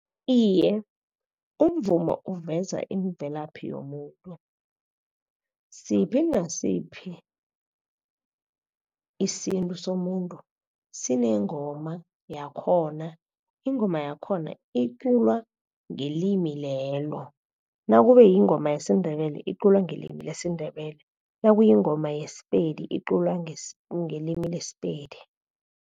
Iye, umvumo uveza imvelaphi yomuntu, siphi nasiphi isintu somuntu sinengoma yakhona, ingoma yakhona iculwa ngelimi lelo. Nakube yingoma yesiNdebele iculwa ngelimi lesiNdebele, nakuyingoma yeSePedi iculwa ngelimi leSePedi.